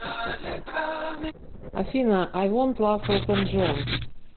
афина ай вонт лав элтон джон